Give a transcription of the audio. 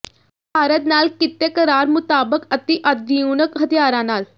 ਭਾਰਤ ਨਾਲ ਕੀਤੇ ਕਰਾਰ ਮੁਤਾਬਕ ਅਤਿ ਆਧੁਿਨਕ ਹਥਿਆਰਾਂ ਨਾਲ